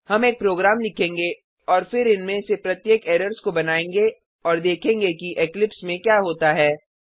हम एक प्रोग्राम लिखेंगे और फिर इनमें से प्रत्येक एरर्स को बनायेंगे और देखेगें कि इक्लिप्स में क्या होता है